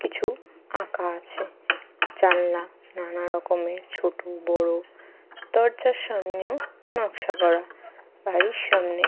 কিছু আঁকা আছে। জানলা নানা রকমের ছোট বড়। দরজার সামনেও নকশা করা। বাড়ির সামনে --